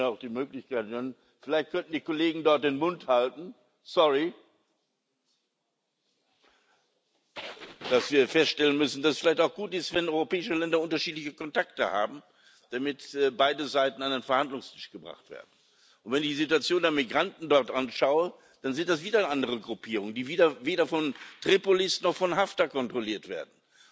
Ich würde mir auch die Möglichkeit anhören vielleicht können die Kollegen dort den Mund halten, sorry dass wir feststellen müssen, dass es vielleicht auch gut ist, wenn europäische Länder unterschiedliche Kontakte haben, damit beide Seiten an den Verhandlungstisch gebracht werden. Und wenn ich mir die Situation der Migranten dort anschaue, dann sind das wieder andere Gruppierungen, die weder von Tripolis noch von Haftar kontrolliert werden.